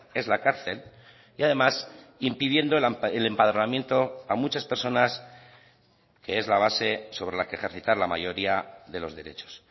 es la cárcel y además impidiendo el empadronamiento a muchas personas que es la base sobre la que ejercitar la mayoría de los derechos